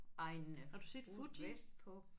Har du set Fuji?